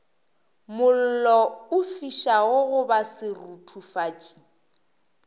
mollo o fišago goba seruthufatši